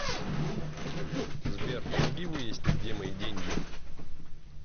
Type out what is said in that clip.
сбер помоги выяснить где мои деньги